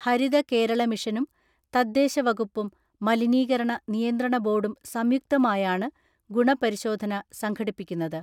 ഹരിത കേരള മിഷനും തദ്ദേശവകുപ്പും മലിനീകരണ നിയന്ത്രണ ബോർഡും സംയുക്തമായാണ് ഗുണപരിശോധന സംഘടിപ്പിക്കുന്നത്.